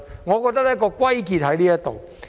我覺得問題的癥結在此。